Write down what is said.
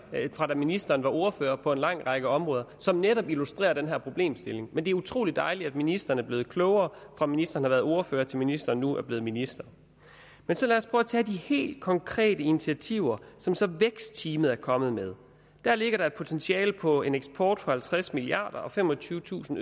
fra da ministeren var ordfører på en lang række områder som netop illustrerer den her problemstilling men det er utrolig dejligt at ministeren er blevet klogere fra ministeren var ordfører til ministeren nu er blevet minister men så lad os prøve at tage de helt konkrete initiativer som som vækstteamet er kommet med der ligger et potentiale på en eksport for halvtreds milliard kroner og femogtyvetusind